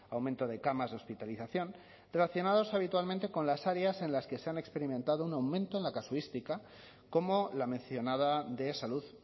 aumento de camas de hospitalización relacionados habitualmente con las áreas en las que se han experimentado un aumento en la casuística como la mencionada de salud